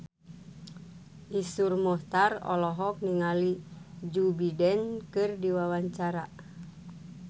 Iszur Muchtar olohok ningali Joe Biden keur diwawancara